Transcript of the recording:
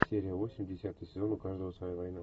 серия восемь десятый сезон у каждого своя война